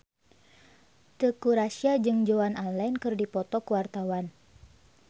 Teuku Rassya jeung Joan Allen keur dipoto ku wartawan